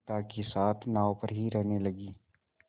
पिता के साथ नाव पर ही रहने लगी